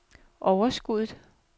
overskuddet